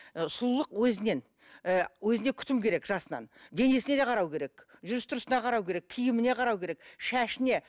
ы сұлулық өзінен і өзіне күтім керек жасынан денесіне де қарау керек жүріс тұрысына қарау керек киіміне қарау керек шашына